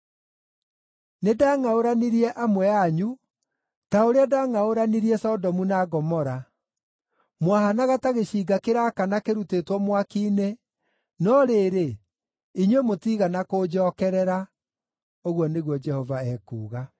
“Nĩndangʼaũranirie amwe anyu ta ũrĩa ndangʼaũranirie Sodomu na Gomora. Mwahaanaga ta gĩcinga kĩraakana kĩrutĩtwo mwaki-inĩ, no rĩrĩ, inyuĩ mũtiigana kũnjookerera,” ũguo nĩguo Jehova ekuuga.